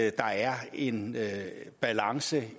at der er en balance